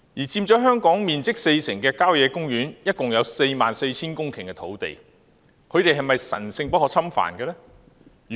佔香港面積四成的郊野公園共有 44,000 公頃土地，是否神聖不可侵犯呢？